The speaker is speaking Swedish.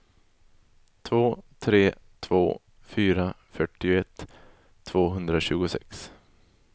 två tre två fyra fyrtioett tvåhundratjugosex